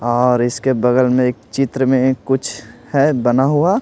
और इसके बगल में एक चित्र में कुछ है बना हुआ।